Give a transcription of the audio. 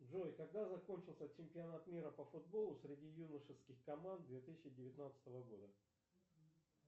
джой когда закончился чемпионат мира по футболу среди юношеских команд две тысячи девятнадцатого года